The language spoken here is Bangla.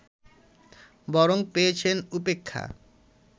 বরং পেয়েছেন উপেক্ষা